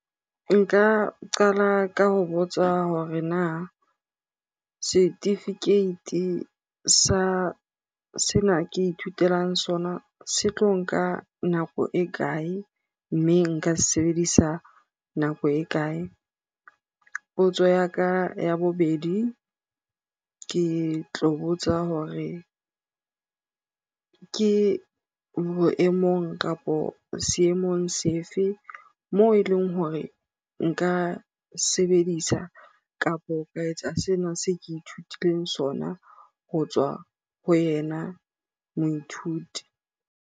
Nka qala ka ho botsa hore na setifikeiti sa sena ke ithutelang sona se tlo nka nako e kae? Mme nka se sebedisa nako e kae? Potso ya ka ya bobedi, ke tlo botsa hore ke ho ke boemong kapo seemong sefe? Moo e leng hore nka sebedisa kapo sena se ke ithutileng sona ho tswa ho yena moithuti.